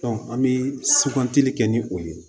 an bɛ kɛ ni o ye